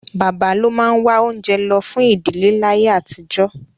Bàbá ló máa wá oúnjẹ lọ fún ìdíléláyé àtijọ́